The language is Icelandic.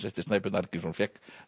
eftir Snæbjörn Arngrímsson fékk